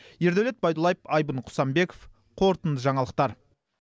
ердәулет байдуллаев айбын құсанбеков қорытынды жаңалықтар